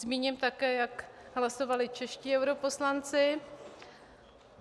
Zmíním také, jak hlasovali čeští europoslanci.